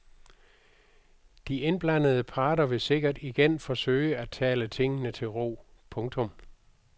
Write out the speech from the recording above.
De indblandede parter vil sikkert igen forsøge at tale tingene til ro. punktum